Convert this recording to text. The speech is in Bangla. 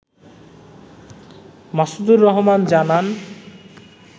মাসুদুর রহমান জানান